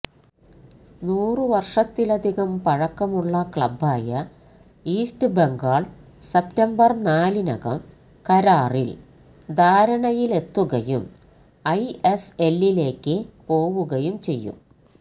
നൂറ് വർഷത്തിലധികം പഴക്കുള്ള ക്ലബ്ബായ ഈസ്റ്റ് ബംഗാൾ സെപ്റ്റംബർ നാലിനകം കരാറിൽ ധാരണയിലെത്തുകയും ഐഎസ്എല്ലിലേക്ക് പോവുകയും ചെയ്യും